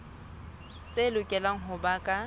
tse lokelang ho ba ka